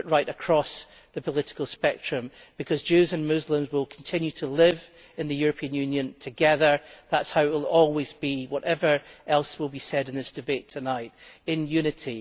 This must be discussed right across the political spectrum, because Jews and Muslims will continue to live in the European Union together that is how it will always be, whatever else will be said in this debate tonight in unity.